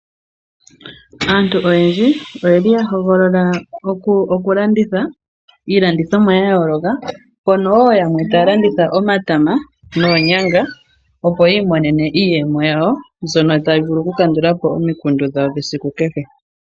Aantu oyendji oyeli ya hogolola okulanditha iilandithomwa ya yooloka mpono yamwe taya landitha omatama noonyanga, opo ya imonene iiyemo yawo mbyono tayi vulu kukandula po omikundu dhawo dhesiku kehe.